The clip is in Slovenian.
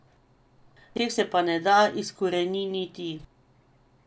Teh se pa ne da izkoreniniti.